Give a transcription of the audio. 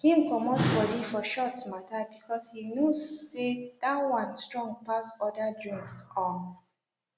him comot body for shots mata because he knows say that one strong pass other drinks um